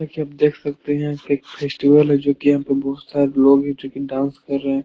देखिये देख सकते हैं की एक फेस्टिवल है। जो की यहां पे बोहोत सारे लोग है जो की डांस कर रहे है।